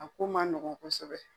A ko man nɔgɔn kosɛbɛ.